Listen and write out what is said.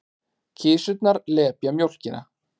Kisurnar lepja mjólkina.